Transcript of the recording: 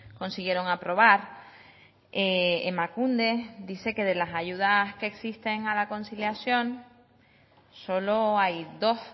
consiguieron aprobar emakunde dice que de las ayudas que existen a la conciliación solo hay dos